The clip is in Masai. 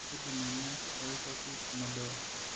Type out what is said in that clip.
Keidim ena atorikoki emodoo.